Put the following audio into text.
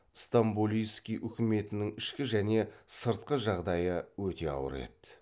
стамболийский үкіметінің ішкі және сыртқы жағдайы өте ауыр еді